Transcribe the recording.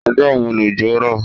Ọjọ́ wo lòjò rọ̀?